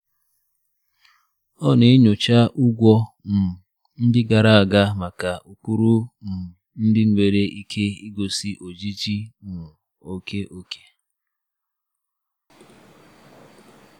Ọ na-enyocha ụgwọ um ndị gara aga maka ụkpụrụ um ndị nwere ike igosi ojiji um oke oke.